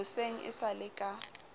hoseng e sa le ka